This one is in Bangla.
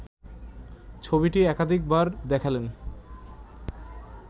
ছবিটি একাধিক বার দেখালেন